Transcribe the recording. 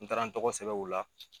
N taara n tɔgɔ kosɛbɛ o la